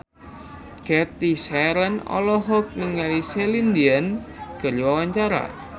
Cathy Sharon olohok ningali Celine Dion keur diwawancara